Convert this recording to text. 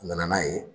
N nana n'a ye